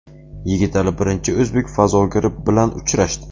Yigitali birinchi o‘zbek fazogiri bilan uchrashdi.